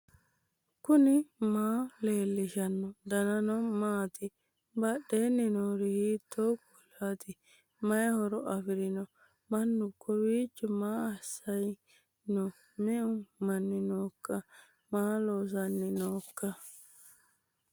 knuni maa leellishanno ? danano maati ? badheenni noori hiitto kuulaati ? mayi horo afirino ? mannu kowiicho ma ayrisanni noo me'u manni nooikka maa loossanni nooikka